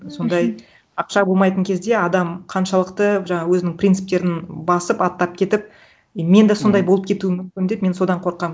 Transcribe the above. сондай ақша болмайтын кезде адам қаншалықты жаңағы өзінің принциптерін басып аттап кетіп и мен де сондай болып кетуім мүмкін деп мен содан қорқамын